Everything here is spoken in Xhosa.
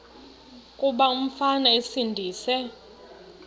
kuba umfana esindise